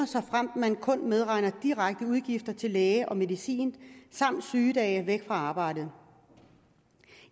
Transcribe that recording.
såfremt man kun medregner direkte udgifter til læge og medicin samt sygedage er væk fra arbejdet